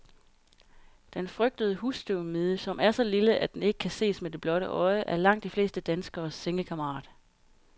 Den frygtede husstøvmide, som er så lille, at den ikke kan ses med det blotte øje, er langt de fleste danskeres sengekammerat.